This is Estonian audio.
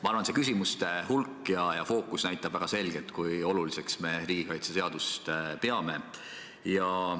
Ma arvan, et küsimuste hulk ja fookus näitab väga selgelt, kui oluliseks me riigikaitseseadust peame.